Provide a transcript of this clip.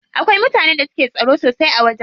Akwai mutanen da suke tsaro sosai a wajen.